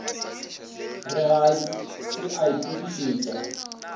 re ga se a itokišetša